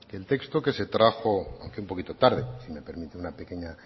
el texto que se trajo aunque un poquito tarde si me permite una pequeña